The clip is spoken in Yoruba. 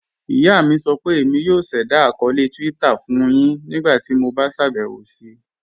Iyà mi sọ pé Émi yóò ṣẹda akọọlẹ Twitter fun yin ńígbàtí mó bá ṣabẹwo sí.